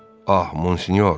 Ah Monsinyor.